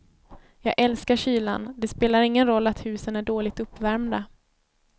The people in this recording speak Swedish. Jag älskar kylan, det spelar ingen roll att husen är dåligt uppvärmda.